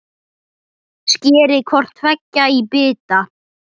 Skerið hvort tveggja í bita.